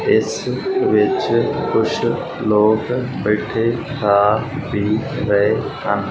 ਇਸ ਵਿੱਚ ਕੁਛ ਲੋਕ ਬੈਠੇ ਖਾ ਪੀ ਰਹੇ ਹਨ।